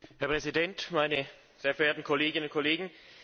Herr Präsident, meine sehr verehrten Kolleginnen und Kollegen!